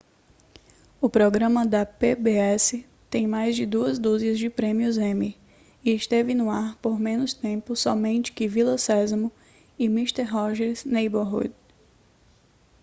o programa da pbs tem mais de duas dúzias de prêmios emmy e esteve no ar por menos tempo somente que vila sésamo e mister rogers' neighborhood